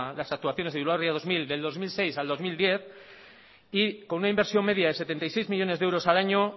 las actuaciones de bilbao ría dos mil del dos mil seis al dos mil diez y con una inversión media de setenta y seis millónes de euros al año